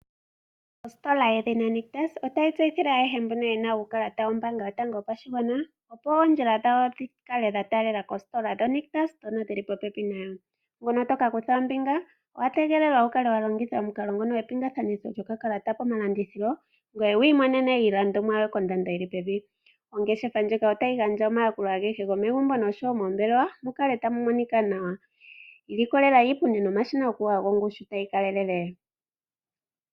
Ositola yedhina Nictus otayi tse tseyithile ayehe mboka yena uukalata woombanga yotango yopashigwana, opo oondjila dhawo dhikale dha taalela kositola yoNictus yili popepi nayo. Ngono tokakutha ombinga owa tegelelwa oku kala wa longitha omukalo ngono gwe epingakakanitho lyokakalata komalandithilo ngoye wiimonene ompito yoku ilandela iinima kombiliha. Ongeshefa ndjika otayi gandja omayakulo agehe gomegumbo nogomoombelewa mukale tamu monika nawa ilokolela iipundi nomashina gokuyoga gongushu tayi kalelele.